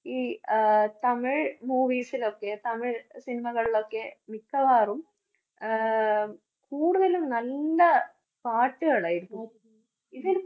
ഈ ആഹ് തമിഴ് movies ലൊക്കെ തമിഴ് cinema കളിലൊക്കെ മിക്കവാറും ആഹ് കൂടുതലും നല്ല പാട്ടുകളായിരിക്കും.